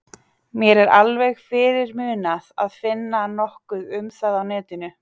Mér er alveg fyrirmunað að finna nokkuð um það á netinu.